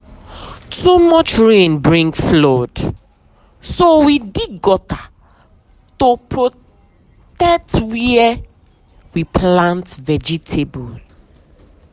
too much rain bring flood so we dig gutter to protect where we plant vegetable.